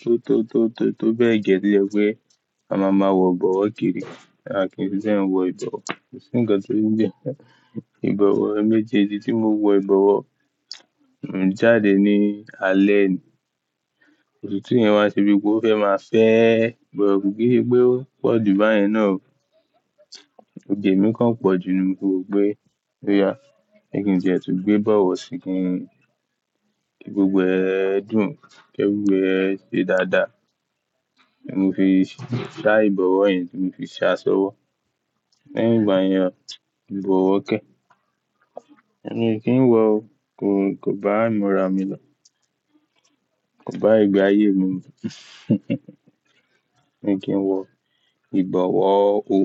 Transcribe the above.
tó, tó, tó, tó bẹ́ẹ̀ gẹ́ tó jẹ wípé a máa ma wọ ìbọ̀wọ́ kiri. A kì í fi bẹ́ẹ̀ wọ ìbọ̀wọ́. Kò sí ǹkan tó ń gbé. Ìbọ̀wọ́ ẹ̀mẹjẹjẹ tí mò ń wọ ìbọ̀wọ́, mò n jáde ní alẹ́ ni. Ọ̀tútù yẹn wá se bi pé ó fẹ́ máa fẹ́ẹ, bọ̀ kò kí se pé ó pọ̀jù báyìí náà o. Òge èmi kan pọ̀jù ni mo fi wó pé. Ó yà, ẹ́ kín tiẹ́ tún gbé bọ̀wọ̀ sí kín, ki gbogbo ẹ̀ dùn, ki efiriwia ẹ̀ ṣe dáadáa. Ní mo fi ṣá ìbọ̀wọ́ yẹn tí mò fi ṣá ṣọ́wọ́. Lẹ́yìn ìgbà yẹn o, ìbọ̀wọ́ kẹ́. Ẹ̀mí ò kí ń wọ o, kò, kò bá ìmúra mi lọ. Kò bá ìgbé ayé mi mu. Èmi ò kí ń wọ ìbọ̀wọ́ o.